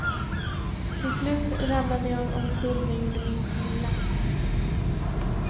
Till slut ramlade jag omkull men gjorde mig inte illa.